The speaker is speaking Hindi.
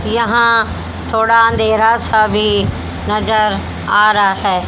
यहां थोड़ा अंधेरा सा भी नजर आ रहा है।